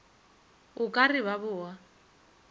o ka re ba boga